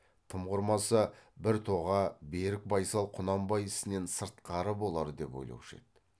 тым құрмаса бір тоға берік байсал құнанбай ісінен сыртқары болар деп ойлаушы еді